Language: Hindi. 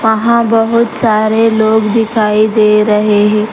वहां बहुत सारे लोग दिखाई दे रहे हे।